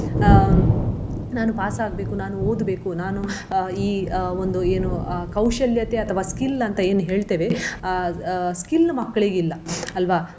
ಅಹ್ ನಾನು pass ಆಗ್ಬೇಕು ನಾನು ಓದಬೇಕು ನಾನು ಅಹ್ ಈ ಅಹ್ ಒಂದು ಏನು ಅಹ್ ಕೌಶಲ್ಯತೆ ಅಥವ skill ಅಂತ ಏನ್ ಹೇಳ್ತೇವೆ ಅಹ್ ಅಹ್ skill ಮಕ್ಲಿಗಿಲ್ಲ ಅಲ್ವ?